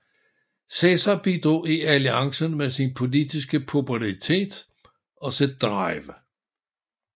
Cæsar bidrog i alliancen med sin politiske popularitet og sit drive